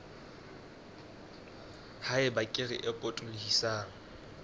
ha eba kere e potolohisang